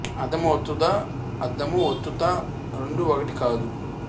అర్ధము ఒత్తు ద అర్థము ఒత్తు త రెండు ఒకటి కాదు